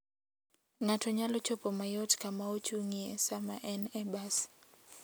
Ng'ato nyalo chopo mayot kama ochung'ie sama en e bas.